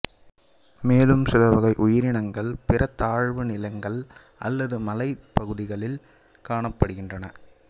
மேலும் சில வகை உயிரினங்கள் பிற தாழ்நிலங்கள் அல்லது மலைப்பகுதிகளில் காணப்படுகின்றன